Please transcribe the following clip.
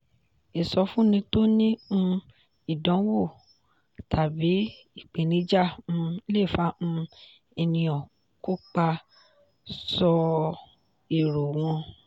ìsọfúnni tó ní um ìdánwò tàbí ìpèníjà um le fà um ènìyàn kópa sọ èrò wọn.